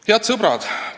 Head sõbrad!